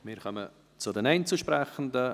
Wir kommen zu den Einzelsprechenden.